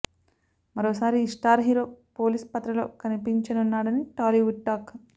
మరోసారి ఈ star hero police పాత్రలో కనిపించనున్నాడని టాలీవుడ్ టాక్